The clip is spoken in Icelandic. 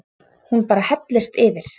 Hún bara hellist yfir.